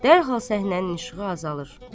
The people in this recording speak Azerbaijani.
Dərhal səhnənin işığı azalır.